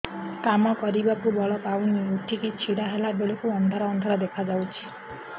କାମ କରିବାକୁ ବଳ ପାଉନି ଉଠିକି ଛିଡା ହେଲା ବେଳକୁ ଅନ୍ଧାର ଅନ୍ଧାର ଦେଖା ଯାଉଛି